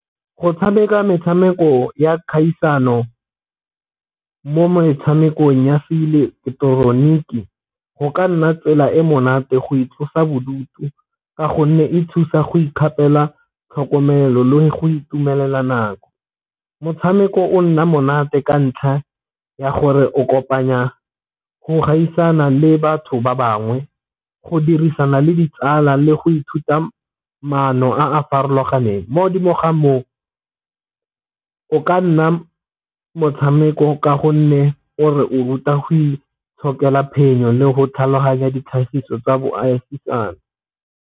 Go tshameka metshameko ya kgaisano mo metshamekong ya se ileketeroniki go ka nna tsela e monate go itlosa bodutu ka gonne e thusa go ikgapela tlhokomelo go itumelela nako. Motshameko o nna monate ka ntlha ya gore o kopanya go gaisana le batho ba bangwe go dirisana le ditsala le go ithuta maano a a farologaneng mo godimo ga moo o ka nna motshameko, ka gonne o re o ruta go itshokela phenyo le go tlhaloganya ditlhagiso tsa .